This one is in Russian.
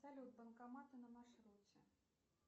салют банкоматы на маршруте